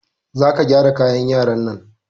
Za ka gyara kayan yaran nan!